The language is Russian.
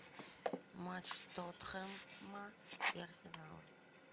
матч тоттенхэма и арсенала